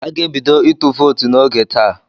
A ga-ebido ịtụ vootu n'oge taa.